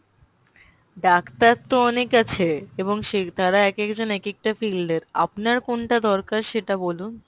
doctor তো অনেক আইছে এবং সে তারা এক এক জন এক এক field এর আপনার কোনটা দরকার সেটা বলুন